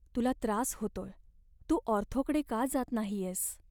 तुला त्रास होतोय. तू ऑर्थोकडे का जात नाहीयेस?